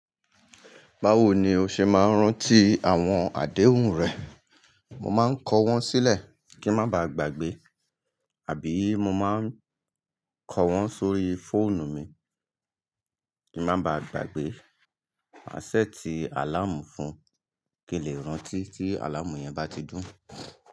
Báwo ni o ṣe máa ń rántí àwọn àdéhùn rẹ? Mo máa ń kọ wọ́n sílẹ̀ kí ń má baà gbàgbé, àbí mo máa ń kọ wọ́n sórí fóònù mi kí ń má baà gbàgbé. Màa ṣẹ̀tii àláàmù fun kí n lè rántí tí àláàmù yẹn bá ti dún.